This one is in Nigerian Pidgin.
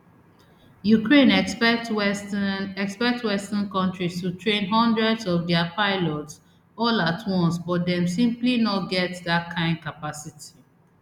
ukraine expect western expect western kontris to train hundreds of dia pilots all at once but dem simply no get dat kain capacity